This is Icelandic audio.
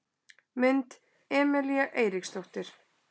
Mynd: Emelía Eiríksdóttir